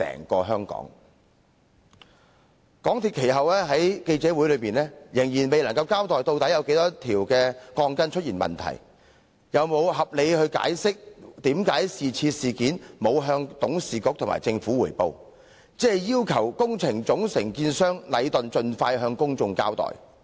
其後，港鐵公司在記者會上，仍未有交代問題鋼筋的數目，又沒有解釋為何未曾向董事局和政府匯報有關事件，只要求工程總承建商禮頓建築有限公司盡快向公眾交代。